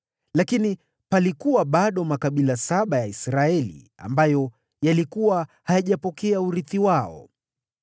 lakini palikuwa bado makabila saba ya Israeli ambayo yalikuwa hayajapokea urithi wao.